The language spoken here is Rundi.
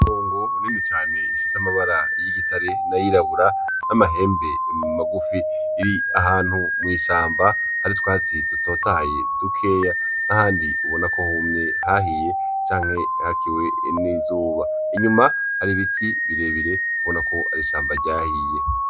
Impongo nini cane ifise amabara y'igitare nay'irabura n'amahembe magufi iri ahantu mw'ishamba hari utwatsi dutotahaye dukeya nahandi ubona ko humye hahiye canke hakiwe n'izuba inyuma hari ibiti birebire ubona ko ari ishamba ryahiye.